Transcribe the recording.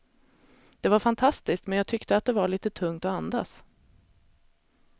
Det var fantastiskt, men jag tyckte att det var lite tungt att andas.